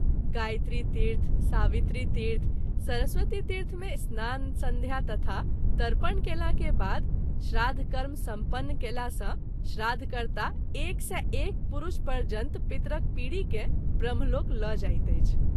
गायत्री तीर्थ, सावित्री तीर्थ, सरस्वती तीर्थ मे स्नान-संध्या, तथा तर्पण कएला के बाद श्राद्ध कर्म सम्पन्न कएला सँ श्राद्ध कर्ता एक सौ एक पुरूष पर्यन्त पीतरक पीढ़ी के ब्रह्मलोक ल’ जाइत अछि।